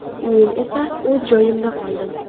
Men esa o‘z joyimda qoldim.